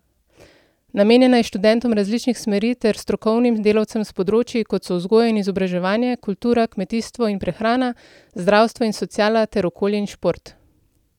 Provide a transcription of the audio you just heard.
Namenjena je študentom različnih smeri ter strokovnim delavcem s področij, kot so vzgoja in izobraževanje, kultura, kmetijstvo in prehrana, zdravstvo in sociala ter okolje in šport.